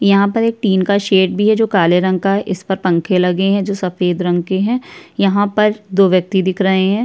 यहाँ पर एक टिन का एक सेड भी है जो काले रंग का है इस पर पंखे लगे है जो सफ़ेद रंग के है यहाँ पर दो व्यक्ति दिख रहे हैं।